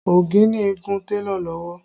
Okinni gún télọ̀ lọ́wọ́